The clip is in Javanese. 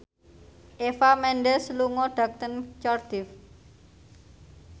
Eva Mendes lunga dhateng Cardiff